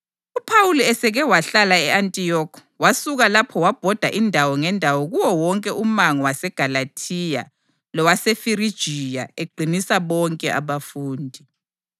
UPhawuli eseke wahlala e-Antiyokhi wasuka lapho wabhoda indawo ngendawo kuwo wonke umango waseGalathiya lowaseFirigiya eqinisa bonke abafundi.